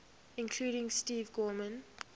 including steve gorman